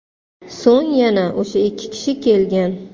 So‘ng yana o‘sha ikki kishi kelgan.